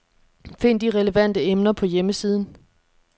Find de relevante emner på hjemmesiden.